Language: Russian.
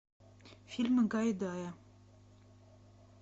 фильмы гайдая